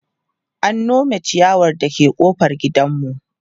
an Nome chiyawar da ke ƙofar gidanmu